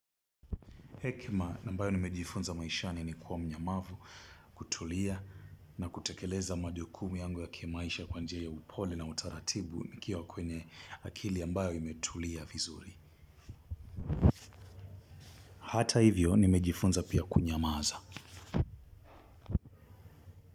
Hekima ambayo nimejifunza maishani ni kuwa mnyamavu kutulia na kutekeleza majukumu yangu ya kimaisha kwa njia ya upole na utaratibu nikiwa kwenye akili ambayo imetulia vizuri. Hata hivyo nimejifunza pia kunyamaza.